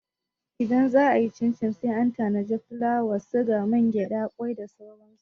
Idan za'a yi cincin sai an tanadi fulawa, sigari, mangyaɗa, kwai da sauran su.